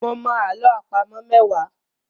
Mo mọ àlọ́ àpamọ̀ mẹ́wàá.